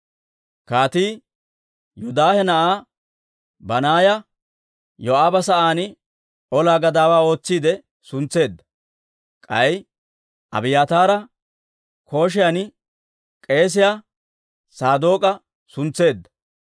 Kaatii Yoodaahe na'aa Banaaya Yoo'aaba sa'aan ola gadaawaa ootsiide suntseedda; k'ay Abiyaataara kotan k'eesiyaa Saadook'a suntseedda.